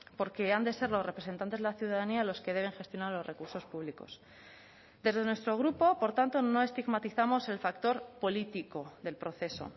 porque han de ser los representantes de la ciudadanía los que deben gestionar los recursos públicos desde nuestro grupo por tanto no estigmatizamos el factor político del proceso